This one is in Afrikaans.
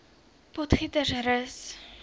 potgietersrus